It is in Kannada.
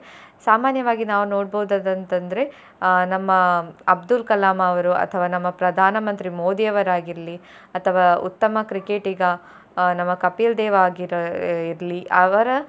ಸಾಮಾನ್ಯವಾಗಿ ನಾವು ನೋಡ್ಬಹುದಾದಂತಂದ್ರೆ ಅಹ್ ನಮ್ಮ ಅಬ್ದುಲ್ ಕಲಾಂ ಅವರು ಅಥವಾ ನಮ್ಮ ಪ್ರಧಾನ ಮಂತ್ರಿ ಮೋದಿ ಅವರ್ ಆಗಿರ್ಲಿ ಅಥವಾ ಉತ್ತಮ ಕ್ರಿಕೆಟಿಗ ಅಹ್ ನಮ್ಮ ಕಪಿಲ್ ದೇವ್ ಆಗಿರ್ಲಿ ಅವರ.